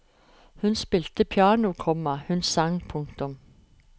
Hun spilte piano, komma hun sang. punktum